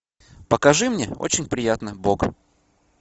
покажи мне очень приятно бог